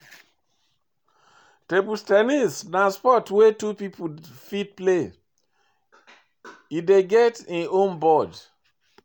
Table ten nis na sport wey two pipo fit play, e dey get im own board